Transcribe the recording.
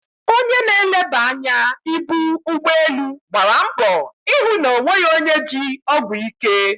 Onye na-eleba anya ibu ụgbọ elu gbara mbọ ịhụ na o nweghị onye ji ọgwụ ike.